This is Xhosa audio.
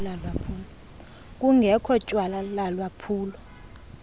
kungekho tyala lalwaphulo